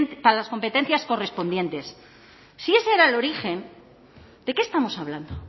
para las competencias correspondientes si ese era el origen de qué estamos hablando o